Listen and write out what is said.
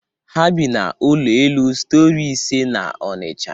Ha bi n'ụlọ elu stori ise n'Onisha